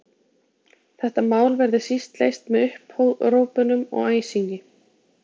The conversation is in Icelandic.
Þetta mál verði síst leyst með upphrópunum og æsingi.